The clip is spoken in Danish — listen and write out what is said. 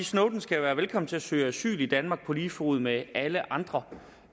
snowden skal være velkommen til at søge asyl i danmark på lige fod med alle andre